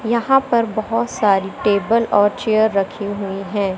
यहां पर बहोत सारी टेबल और चेयर रखी हुई हैं।